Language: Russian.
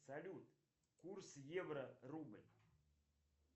салют курс евро рубль